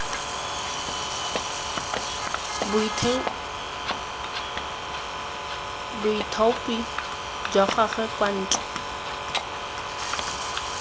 boithaopi jwa gagwe kwa ntle